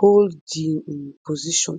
hold di highest um position